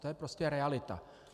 To je prostě realita.